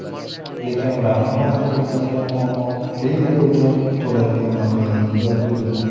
Lekin ularni hozir qiynayotgan muammo – klinika uchun to‘lanadigan mablag‘ning yo‘qligida.